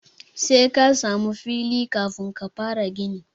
Sai ka samu fegi kafin ka fara gini.